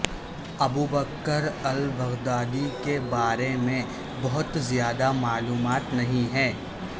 Abubakar al-Baghdadi کے بارے میں بہت زیادہ معلومات نہیں ہیں